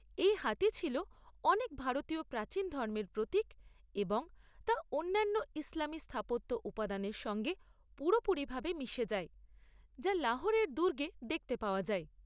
এই হাতি ছিল অনেক ভারতীয় প্রাচীন ধর্মের প্রতীক এবং তা অন্যান্য ইসলামী স্থাপত্য উপাদানের সঙ্গে পুরোপুরিভাবে মিশে যায়, যা লাহোরের দুর্গে দেখতে পাওয়া যায়।